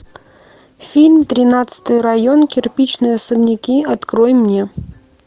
фильм тринадцатый район кирпичные особняки открой мне